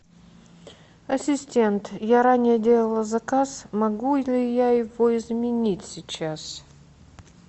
ассистент я ранее делала заказ могу ли я его изменить сейчас